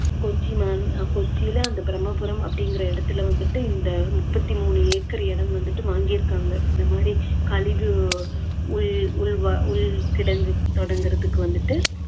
கொச்சி மா~ அந்த பிரம்மபுரம் அப்படிங்குற இடத்துல வந்துட்டு இந்த முப்பத்தி மூணு ஏக்கர் வந்துட்டு வாங்கிருக்காங்க, இந்த மாதிரி கழிவு உள்~ உள்வ~ உள் கிடங்கு தொடங்குறதுக்கு வந்துட்டு